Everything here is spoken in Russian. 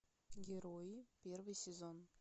герои первый сезон